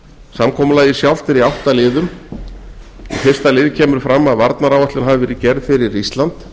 samkomulagið sjálft er í átta liðum í fyrsta lið kemur fram að varnaráætlun hafi verið gerð fyrir ísland